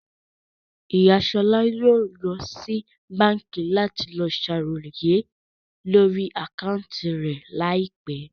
Ìyá Ṣọlá yóò lọ sí báńkì láti lọ sàròyé lórí àkáúntì rẹ̀ ní àìpẹ́